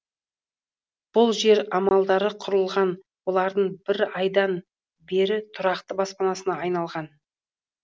бұл жер амалдары құрыған олардың бір айдан бері тұрақты баспанасына айналған